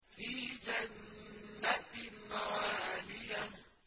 فِي جَنَّةٍ عَالِيَةٍ